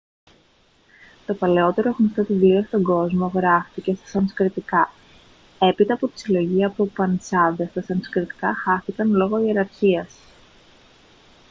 το παλαιότερο γνωστό βιβλίο στον κόσμο γράφτηκε στα σανσκριτικά έπειτα από τη συλλογή από ουπανισάδες τα σανσκριτικά χάθηκαν λόγω ιεραρχίας